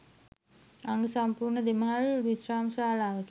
අංග සම්පූර්ණ දෙමහල් විශ්‍රාම ශාලාවකි.